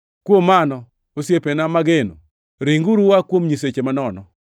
Kuom mano, osiepena mageno, ringuru ua kuom nyiseche manono.